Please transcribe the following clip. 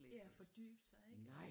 Ja og fordybe sig ik